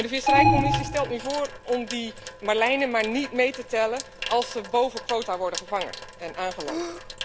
De visserijcommissie stelt nu voor om marlijnen niet mee te tellen als ze boven quotum worden gevangen en aangeland.